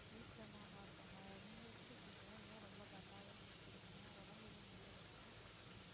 வீட்டுல எல்லாம் நல்லா இருக்காங்க நீங்க எப்படி இருக்கீங்க ஏன் ரொம்ப dull ஆவே பேசுறீங்க, உடம்பு ஏதும் முடிலயா